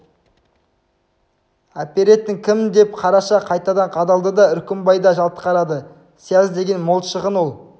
әперетін кім деп қараша қайтадан қадалды деп үркімбай да жалт қарады сияз деген мол шығын ол